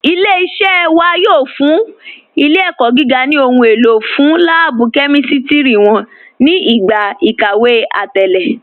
Ilẹ̀-iṣẹ̀ wà yóò fún ilẹ̀-ẹ̀kọ́ gígà ni ohun èlò fún lààbú kẹmístírí wọn ni igba ikàwé àtẹ̀lẹ̀.